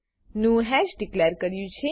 નું hash declare કર્યું છે